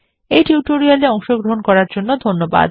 এই টিউটোরিয়াল এ অংশগ্রহন করার জন্য ধন্যবাদ